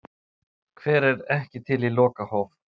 Hver er ekki til í lokahóf?